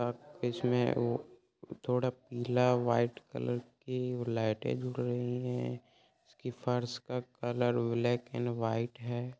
अब इसमें वो थोड़ा नीला व्हाइट कलर की लाइटें रही हैं इसके फर्श का कलर ब्लैक एंड व्हाइट है।